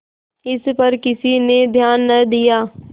इस पर किसी ने ध्यान न दिया